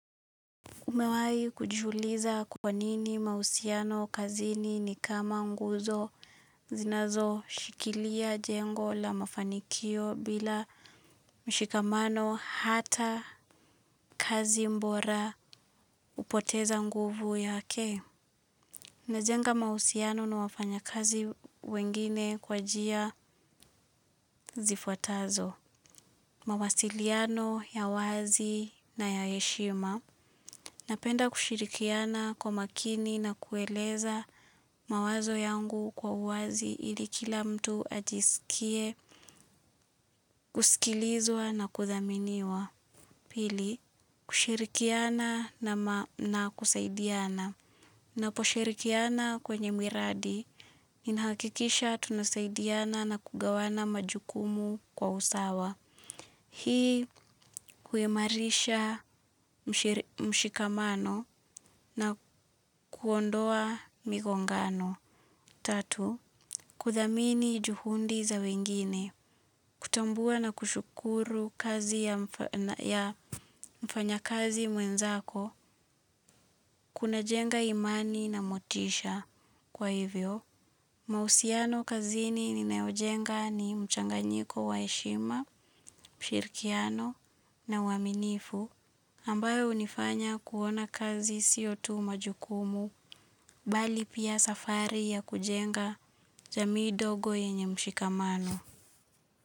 Umewahi kujiuliza kwa nini mahusiano kazini ni kama nguzo zinazo shikilia jengo la mafanikio bila mshikamano hata kazi bora hupoteza nguvu yake. Najenga mahusiano na wafanya kazi wengine kwa njia zifuatazo. Mawasiliano ya wazi na ya heshima. Napenda kushirikiana kwa makini na kueleza mawazo yangu kwa uwazi ili kila mtu ajisikie, kusikilizwa na kuthaminiwa. Pili, kushirikiana na kusaidiana. Ninapo shirikiana kwenye miradi, ninahakikisha tunasaidiana na kugawana majukumu kwa usawa. Hii huimarisha mshikamano na kuondoa migongano. Tatu, kuthamini juhudi za wengine, kutambua na kushukuru kazi ya mfanya kazi mwenzako, kuna jenga imani na motisha kwa hivyo. Mahusiano kazini ninaojenga ni mchanganyiko wa heshima, mshirikiano na uaminifu ambayo hunifanya kuona kazi sio tu majukumu bali pia safari ya kujenga jamii dogo yenye mshikamano.